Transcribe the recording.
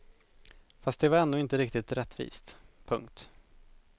Fast det var ändå inte riktigt rättvist. punkt